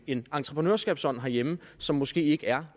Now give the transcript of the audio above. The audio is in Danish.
en entreprenørskabsånd herhjemme som måske ikke er